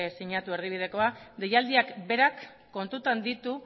sinatu erdibidekoa deialdiak berak kontutan ditu